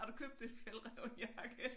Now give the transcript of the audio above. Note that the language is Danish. Har du købt en Fjällräven jakke?